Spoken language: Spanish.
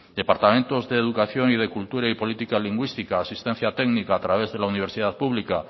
departamentos de educación y cultura y política lingüística asistencia técnica a través de la universidad pública